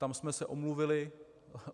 Tam jsme se omluvili.